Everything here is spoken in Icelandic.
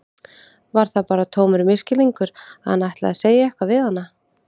Var það bara tómur misskilningur að hann ætlaði að segja eitthvað við hana?